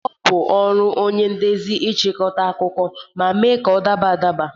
Ọ bụ ọrụ onye ndezi ịchịkọta akụkọ ma mee ka ọ daba adaba